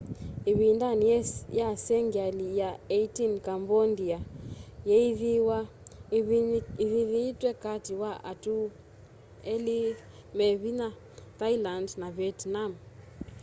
ivindani ya sengyali ya 18 cambondia yeeyithiie ivinyiitwe kati wa atu eli me vinya thailand na vietnam